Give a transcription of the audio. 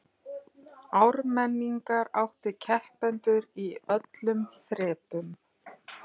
Ármenningar áttu keppendur í öllum þrepum